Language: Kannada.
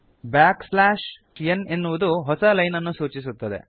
ಬ್ಯಾಕ್ ಸ್ಲ್ಯಾಶ್ n ನ್ ಎನ್ನುವುದು ಹೊಸ ಲೈನ್ ಅನ್ನು ಸೂಚಿಸುತ್ತದೆ